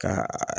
Ka